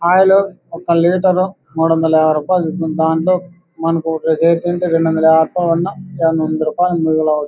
oil ఒక litre మూడు వందల యాబై రూపాయిల